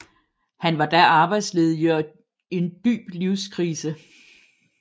Han var da arbejdsledig og i en dyb livskrise